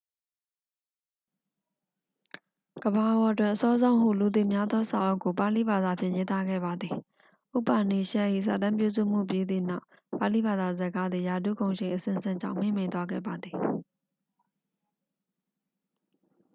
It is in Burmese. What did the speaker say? ကမ္ဘာပေါ်တွင် အစောဆုံးဟုလူသိများသောစာအုပ်ကို ပါဠိဘာသာဖြင့် ရေးသားခဲ့ပါသည် ဥပါနီရှက်ဒ် ၏ စာတမ်းပြုစုမှုပြီးသည့်နောက် ပါဠိဘာသာစကားသည် ရာထူးဂုဏ်ရှိန်အဆင့်ဆင့်ကြောင့် မှေးမှိန်သွားခဲ့ပါသည်